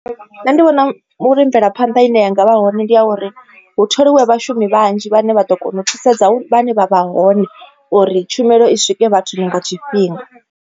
Nṋe ndi vhona vhu ri mvelaphanḓa ine yanga vha hone ndi ya uri hu tholiwe vhashumi vhanzhi vhane vha ḓo kona u thusedza vhane vha vha hone uri tshumelo i swike vhathu nga tshifhinga.